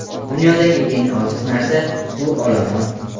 Dunyodagi eng ojiz narsa – bu olomon.